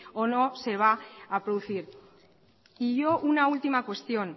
o no se va a producir y yo una última cuestión